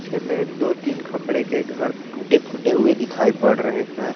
पीछे में दो तीन खपड़े के घर टूटे फूटे हुए दिखाई पड़ रहे हैं।